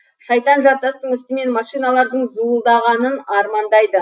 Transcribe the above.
шайтан жартастың үстімен машиналардың зуылдағынын армандайды